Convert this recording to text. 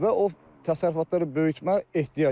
Və o təsərrüfatları böyütmək ehtiyac var.